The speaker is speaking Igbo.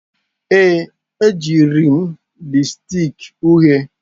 Ee, ejiri m lipstick uhie.